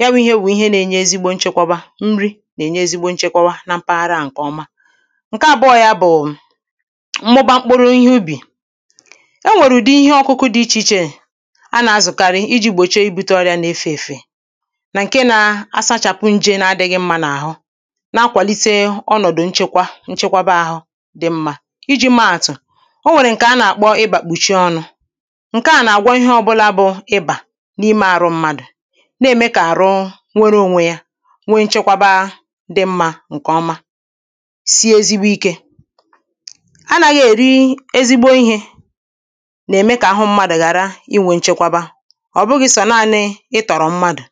ya wụ̄ īhē wụ̀ ihe nā-ēnyē ezigbo nchekwaba nri nà-ènye ezigbo nchekwaba na mpaghara à ǹkè ọma ǹke àbụọ yā bụ̀ mmụba mkpụrụ ihe ubì enwèrè ùdi ihe ọ̄kụ̄kụ̄ dị ichè ichè ha nà-azụ̀karị ijī gbòchie ibūtē ọrịā nà-efe èfè nà ǹke nā-āsāchàpụ njē na ādị̄ghị̄ mmā n’àhụ na-akwàlite ọnọ̀dụ̀ nchekwa, nchekwaba āhụ̄ dị mmā, ijī meē àtụ̀dị mmā, ijī meē àtụ̀ onwèrè ǹkè ha nà-àkpọ ịbà kpùchie ọnụ̄ ǹke à nà-àgwọ ihe ọ̄bụ̄là bụ ịbà n’imē àrụ mmadụ̀ na-ème kà àrụ were ōnwē yā nwe nchekwaba dị̄ m̄mà ǹkè ọma sie ezigbo ikē anāghị̄ èri ezigbo ihē nà-ème kà àhụ m̄mādụ̀ ghàra iwē nchekwaba ọ̀ bụghị̄ sọ̀ naānị̄ itọ̀rọ̀ mmadụ̀